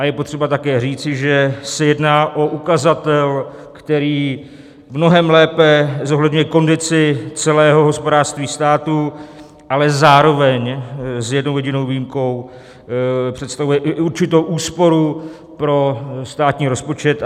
A je potřeba také říci, že se jedná o ukazatel, který mnohem lépe zohledňuje kondici celého hospodářství státu, ale zároveň s jednou jedinou výjimkou představuje i určitou úsporu pro státní rozpočet.